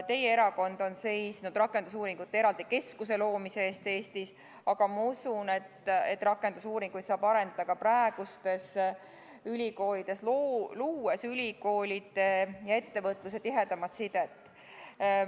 Teie erakond on seisnud eraldi rakendusuuringute keskuse loomise eest Eestis, aga ma usun, et rakendusuuringuid saab arendada ka praegustes ülikoolides, luues ülikoolide ja ettevõtluse tihedamat sidet.